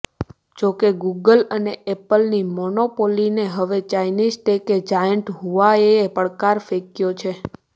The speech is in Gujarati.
જો કે ગુગલ અને એપલની મોનોપોલીને હવે ચાઇનીઝ ટેક જાયન્ટ હુઆવેએ પડકાર ફેંકયો છે